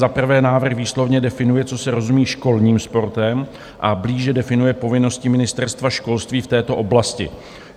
Za prvé, návrh výslovně definuje, co se rozumí školním sportem, a blíže definuje povinnosti Ministerstva školství v této oblasti.